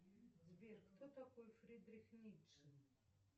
сбер кто такой фридрих ницше